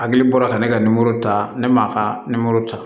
Hakili bɔra ka ne ka nimoro ta ne m'a ka nimoro ta